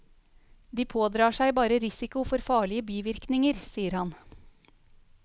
De pådrar seg bare risiko for farlige bivirkninger, sier han.